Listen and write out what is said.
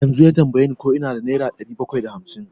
Yanzu ya tambaye ni ko ina da nera ɗari bakwai da hamsin.